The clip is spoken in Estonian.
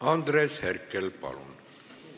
Andres Herkel, palun!